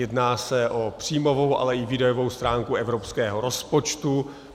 Jedná se o příjmovou, ale i výdajovou stránku evropského rozpočtu.